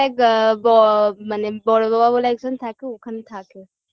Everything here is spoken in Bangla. এগ ব মানে বড়ো বাবা বলে একজন থাকে ওখানে থাকে